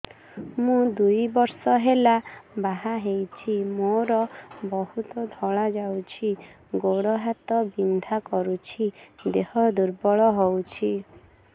ମୁ ଦୁଇ ବର୍ଷ ହେଲା ବାହା ହେଇଛି ମୋର ବହୁତ ଧଳା ଯାଉଛି ଗୋଡ଼ ହାତ ବିନ୍ଧା କରୁଛି ଦେହ ଦୁର୍ବଳ ହଉଛି